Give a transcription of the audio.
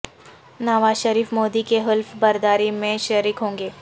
نواز شریف مودی کی حلف برداری میں شریک ہوں گے